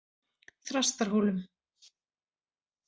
Þrastarhólum